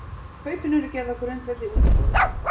Kaupin eru gerð á grundvelli útboðs